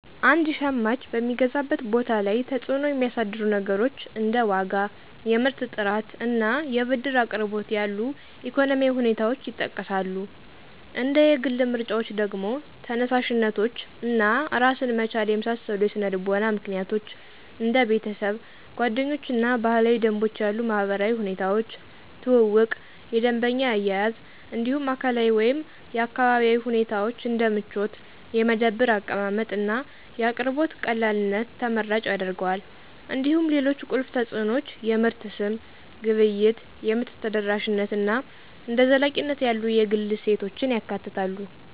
አንድ ሸማች በሚገዛበት ቦታ ላይ ተጽዕኖ የሚያሳድሩ ነገሮች እንደ ዋጋ፣ የምርት ጥራት፣ እና የብድር አቅርቦት ያሉ ኢኮኖሚያዊ ሁኔታዎች ይጠቀሳሉ። እንደ የግል ምርጫዎች ደግሞ፣ ተነሳሽነቶች እና ራስን መቻል የመሳሰሉ የስነ-ልቦና ምክንያቶች፣ እንደ ቤተሰብ፣ ጓደኞች እና ባህላዊ ደንቦች ያሉ ማህበራዊ ሁኔታዎች፣ ትውውቅ፣ የደንበኛ አያያዝ እንዲሁም አካላዊ ወይም አካባቢያዊ ሁኔታዎች እንደ ምቾት፣ የመደብር አቀማመጥ፣ እና የአቅርቦት ቀላልነት ተመራጭ ያደርገዋል። እንዲሁም ሌሎች ቁልፍ ተጽዕኖዎች የምርት ስም፣ ግብይት፣ የምርት ተደራሽነት እና እንደ ዘላቂነት ያሉ የግል እሴቶችን ያካትታሉ።